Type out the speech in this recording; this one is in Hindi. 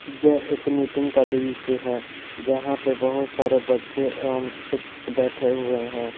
यह एक मीटिंग का दृश्य है जहां पर बहुत सारे बच्चे एवं शिक्षक बैठे हुए हैं।